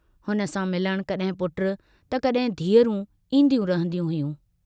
हुन सां मिलण कॾहिं पुट त कॾहिं धीअरूं ईन्दियूं रहंदियूं हुयूं।